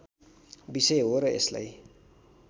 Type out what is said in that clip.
विषय हो र यसलाई